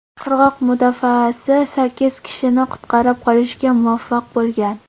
Qirg‘oq mudofaasi sakkiz kishini qutqarib qolishga muvaffaq bo‘lgan.